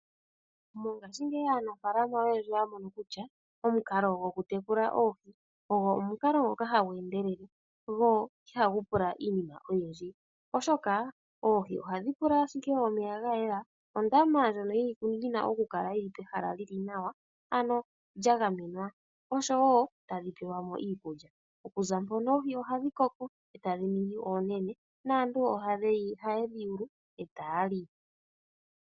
Mongashingeyi aanafalama oyendji oya mono kutya omukalo gwokutekula oohi ogo omukalo ngoka hagu endelele go ihagu pula iinima oyindji, oshoka oohi ohadhi pula ashike omeya ga yela, ondama ndjono yina oku kala pehala li li nawa ano lya gamenwa, oshowo tadhi pelwa mo iikulya. Okuza mpono oohi ohadhi koko etadhi ningi oonene naantu oha yedhi yulu e taya li.